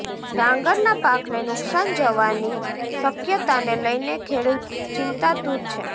ડાંગરના પાકને નુકશાન જવાની શક્યતાને લઈને ખેડૂત ચિંતાતૂર છે